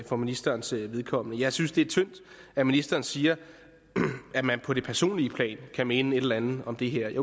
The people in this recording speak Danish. for ministerens vedkommende jeg synes det er tyndt at ministeren siger at man på det personlige plan kan mene et eller andet om det her jeg